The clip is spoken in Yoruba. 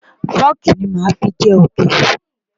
Fọ́ọ̀kì ní màá fi jẹ òkèlè.